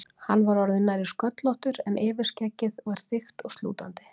Hann var orðinn nærri sköllóttur en yfirskeggið var þykkt og slútandi.